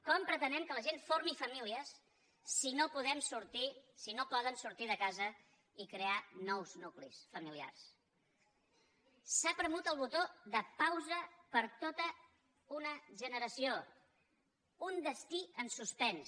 com pretenem que la gent formi fa mílies si no poden sortir de casa i crear nous nuclis familiars s’ha premut el botó de pausa per a tota una generació un destí en suspens